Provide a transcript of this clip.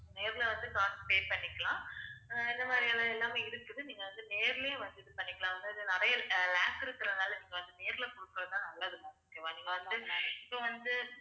நேர்ல வந்து காசு pay பண்ணிக்கலாம் அஹ் இந்த மாதிரியான எல்லாமே இருக்குது. நீங்க வந்து நேர்லயே வந்து இது பண்ணிக்கலாம். அதாவது, நிறைய அஹ் lakhs இருக்குறதுனால, நீங்க வந்து நேர்ல கொடுக்கிறதுதான் நல்லதுங்க ma'am நீங்க வந்து இப்ப வந்து,